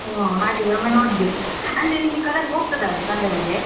ಹೋ ಹಾಗಿದ್ರೆ ಒಮ್ಮೆ ನೋಡ್ಬೇಕು ಅಂದ್ರೆ ನಿಂಗೆ colour ಹೋಗ್ತದ ಅದು ತಂದ ಮೇಲೆ.